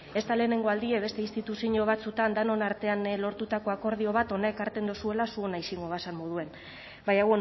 e ez da lehenengo aldie beste instituziño batzuetan denon artean lortutako akordio bat hona ekarten dozuela zuena ixingo bazan moduen baina